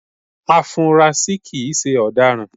Afunrasí kìí se ọ̀daràn